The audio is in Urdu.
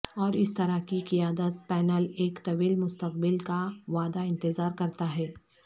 اور اس طرح کی قیادت پینل ایک طویل مستقبل کا وعدہ انتظار کرتا ہے